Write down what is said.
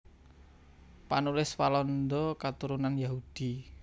Panulis Walanda katurunan Yahudi